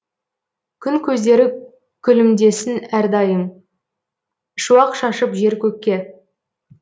күн көздері күлімдесін әрдайым шуақ шашып жер көкке